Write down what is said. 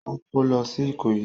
Ó kó lọ sí Ìkòyí?